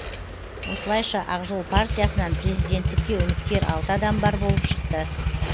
осылайша ақ жол партиясынан президенттікке үміткер алты адам бар болып шықты